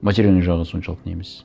материальный жағы соншалық не емес